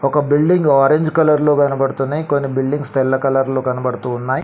ఒక building orange కలర్లో కనబడుతున్నయ్. కొన్ని బిల్డింగ్స్ తెల్ల కలర్లో కనబడుతూ వున్నాయ్.